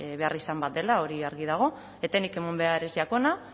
beharrizan bat dela hori argi dago etenik eman behar ez jakona